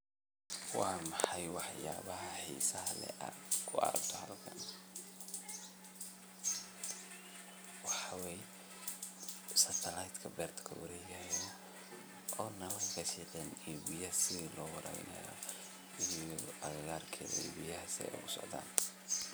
Waa maxay waxyaabaha xiisaha leh aad ku aragto halkani? waxaa weye setlite ka beerta kuwareegaya oona lafashiqin iyo biyaha see loga dalinayo iyo agagaarked iyo biyaha seey ogu socdaa.